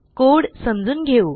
code समजून घेऊ